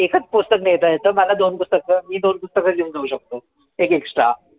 एकच पुस्तक मिळतंयचं. मला दोन पुस्तक, मी दोन पुस्तकं घेऊन जाऊ शकतो. एक extra.